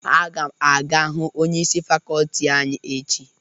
Aga m aga hụ onyeisi fakọlti anyị echi.